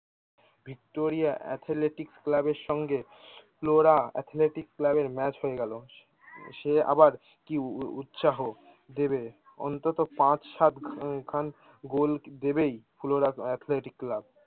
Victoria athletic ক্লাবের সঙ্গে Flora athletic ক্লাবের ম্যাচ হয়ে গেলো সে আবার কি উ উ উৎসাহ ও দেবে অন্তত পাঁচ সাত খান গোল দেবেই ফ্লোরা এথলেটিক ক্লাব